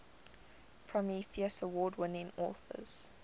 prometheus award winning authors